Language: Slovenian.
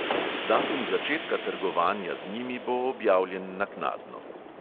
Datum začetka trgovanja z njimi bo objavljen naknadno.